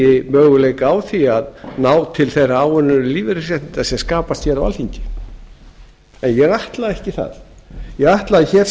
eigi möguleika á því að ná til þeirra áunnið lífeyrisréttinda sem skapast hér á alþingi en ég ætla ekki það ég ætla